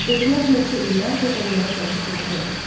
Dedilər neçə illərdir onlara gəlib gedib eləmir.